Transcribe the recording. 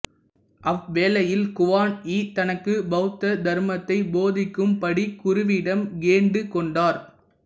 அவ்வேளையில் குவான் யீ தனக்கு பௌத்த தர்மத்தை போதிக்கும் படி குருவிடம் கேண்டுக்கோண்டார்